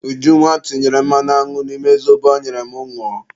Ujunwa tinyere mmanụ aṅụ n'ime zobo ọ nyere m ñụọ